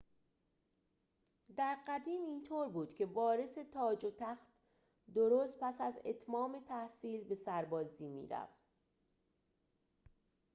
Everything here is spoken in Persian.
در قدیم اینطور بود که وارث تاج و تخت درست پس از اتمام تحصیل به سربازی می‌رفت